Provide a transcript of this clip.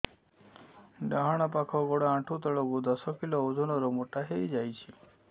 ଡାହାଣ ପାଖ ଗୋଡ଼ ଆଣ୍ଠୁ ତଳକୁ ଦଶ କିଲ ଓଜନ ର ମୋଟା ହେଇଯାଇଛି